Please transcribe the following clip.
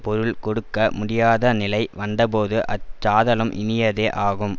பொருள் கொடுக்க முடியாதநிலை வந்தபோது அச் சாதலும் இனியதே ஆகும்